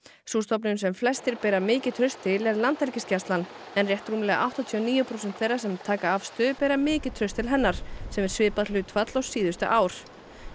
sú stofnun sem flestir bera mikið traust til er Landhelgisgæslan en rétt rúmlega áttatíu og níu prósent þeirra sem taka afstöðu bera mikið traust til hennar sem er svipað hlutfall og síðustu ár